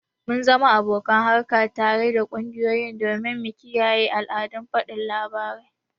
mu zama abokan harka tare da kungiyoyi domin mu kiyaye al'adun fadin labarai